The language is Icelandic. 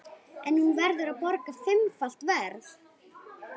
En hún verður að borga fimmfalt verð.